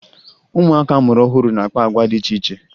Ụmụaka a mụrụ ọhụrụ na-akpa agwa dị iche iche